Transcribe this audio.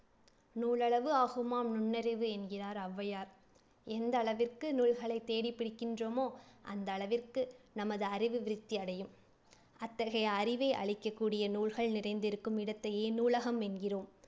நூலளவு ஆகுமாம் நுண்ணறிவு என்கிறார் ஒளவையார். எந்த அளவிற்கு நூல்களை தேடிப்படிக்கின்றோமோ அந்த அளவிற்கு நமது அறிவு விருத்தி அடையும். அத்தகைய அறிவை அளிக்கக்கூடிய நூல்கள் நிறைந்திருக்கும் இடத்தையே நூலகம் என்கிறோம்.